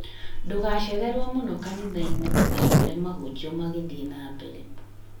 Ndũgacererwo mũno kanitha-inĩ ndũgakore mahunjio magĩthiĩ na mbere